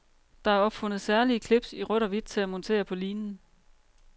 Der er opfundet særlige clips i rødt og hvidt til at montere på linen.